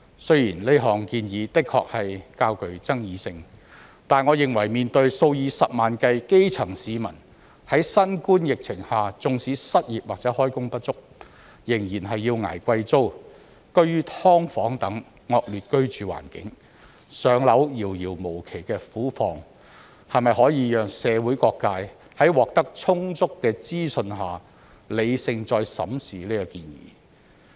雖然這項建議的確較具爭議性，但我認為面對數以十萬計基層市民在新冠疫情下縱使失業或開工不足，仍然要捱貴租、居於"劏房"等惡劣居住環境、"上樓"遙遙無期的苦況，是否可以讓社會各界在獲得充足的資訊下，理性再審視這建議？